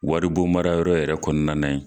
Wari bon mara yɔrɔ yɛrɛ kɔnɔna na ye.